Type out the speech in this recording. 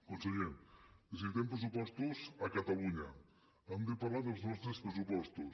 conseller necessitem pressupostos a catalunya hem de parlar dels nostres pressupostos